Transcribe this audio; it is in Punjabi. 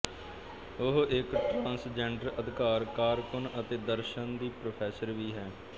ਉਹ ਇਕ ਟਰਾਂਸਜੈਂਡਰ ਅਧਿਕਾਰ ਕਾਰਕੁੰਨ ਅਤੇ ਦਰਸ਼ਨ ਦੀ ਪ੍ਰੋਫੈਸਰ ਵੀ ਹੈ